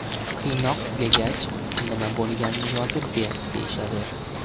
Qiynoq tugagach, ‘nima bo‘lganini yozib ber’ deyishadi.